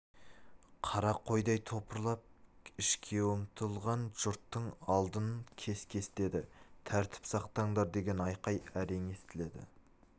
қара қойдай топырлап ішке ұмтылған жұрттың алдын кес-кестеді тәртіп сақтаңдар деген айқай әрең естіледі